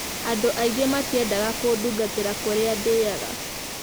'Andũ aingĩ matiendaga kũndungatagĩra kũrĩa ndĩaga.